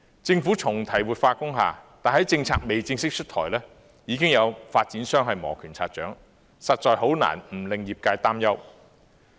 政府重提活化工廈，但政策尚未正式出台，已經有發展商磨拳擦掌，實在很難不令業界擔憂。